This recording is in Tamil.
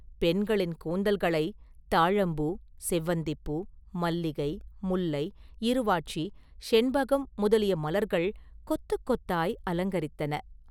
பெண்களின் கூந்தல்களை தாழம்பூ, செவந்திப்பூ, மல்லிகை, முல்லை, இருவாட்சி, செண்பகம் முதலிய மலர்கள் கொத்துக் கொத்தாய் அலங்கரித்தன.